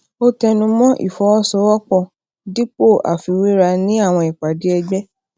ó tẹnu mó ìfọwosowopo dípò àfiwéra ní àwọn ìpàdé ẹgbẹ